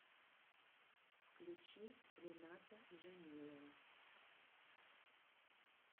включи рената джамилова